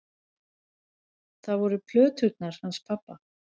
Það voru plöturnar hans pabba.